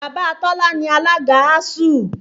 Bàbá Tọ́lá ni alága ASUU